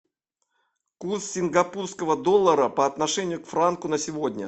курс сингапурского доллара по отношению к франку на сегодня